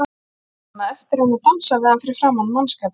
Hún á ekki annað eftir en dansa við hann fyrir framan mannskapinn.